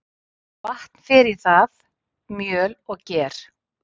Vatn fer í það, mjöl og ger.